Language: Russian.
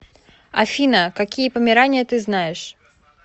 афина какие померания ты знаешь